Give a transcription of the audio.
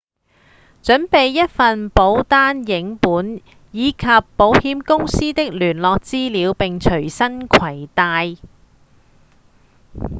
準備一份保單影本以及保險公司的聯絡資料並隨身攜帶